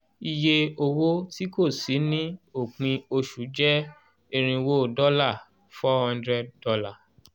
iye owó tí kò sí ni òpin oṣù jẹ́ irinwó dọ́là four hundred dollar